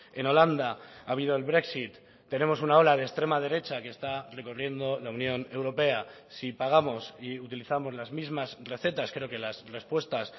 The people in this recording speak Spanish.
en holanda ha habido el brexit tenemos una ola de extrema derecha que está recorriendo la unión europea si pagamos y utilizamos las mismas recetas creo que las respuestas